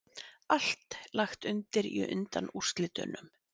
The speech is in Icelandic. Allt lagt undir í undanúrslitunum